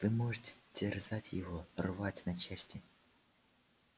вы можете терзать его рвать на части